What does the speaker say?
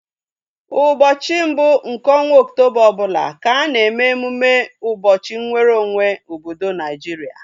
Ụbọchị mbụ nke ọnwa oktoba ọbụla ka a na eme emume ụbọchị nweru onwe obodo Naijiria